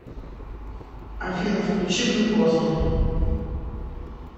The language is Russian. афина включи глюкоза